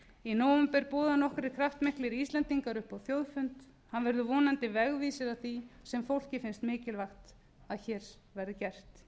í nóvember bjóða nokkrir kraftmiklir íslendingar upp á þjóðfund hann verður vonandi vegvísir að því sem fólki finnst mikilvægast að hér verði gert